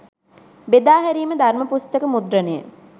බෙදා හැරීම ධර්ම පුස්තක මුද්‍රණය